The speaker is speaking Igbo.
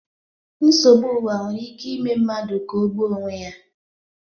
Nsogbu ụwa nwere ike ime mmadụ ka o gbuo onwe ya